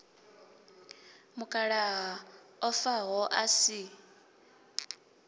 mukalaha o faho a si